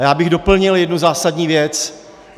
A já bych doplnil jednu zásadní věc.